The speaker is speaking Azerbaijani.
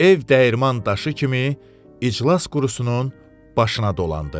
Ev dəyirman daşı kimi iclas qurusunun başına dolandı.